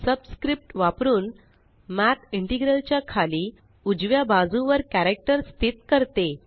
subscript वापरुन math integral च्या खाली उजव्या बाजुवर कॅरक्टर स्थित करते